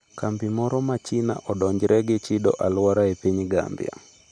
Kambi moro ma China odonjre ni chido alwora e piny Gambia